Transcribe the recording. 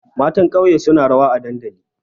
Matan ƙauye suna rawa a dandali.